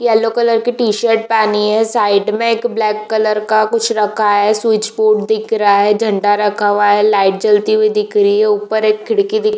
yellow colour की T-shirt पहनी है साइड मे एक ब्लेक कलर का कुछ रखा है स्विच बोर्ड दिख रहा है झण्डा रखा हुआ है लाइट जलती हुई दिख रही है ऊपर एक खिड़की दिख र --